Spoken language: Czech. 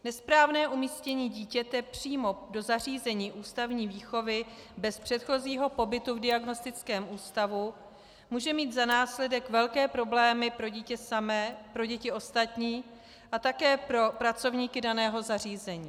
Nesprávné umístění dítěte přímo do zařízení ústavní výchovy bez předchozího pobytu v diagnostickém ústavu může mít za následek velké problémy pro dítě samé, pro děti ostatní a také pro pracovníky daného zařízení.